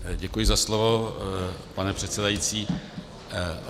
Děkuji za slovo, pane předsedající.